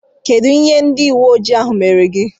Kedụ ihe ndị uweojii ahụ mere gị?